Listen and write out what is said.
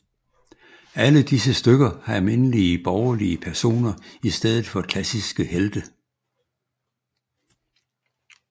Alle disse stykker har almindelige borgerlige personer i stedet for klassiske helte